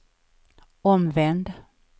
omvänd